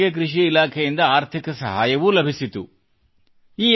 ಇದಕ್ಕಾಗಿ ಅವರಿಗೆ ಕೃಷಿ ಇಲಾಖೆಯಿಂದ ಆರ್ಥಿಕ ಸಹಾಯವೂ ಲಭಿಸಿತು